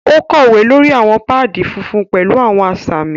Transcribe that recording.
O kowe lórí awọn paadi fúnfún pẹlu awọn asami.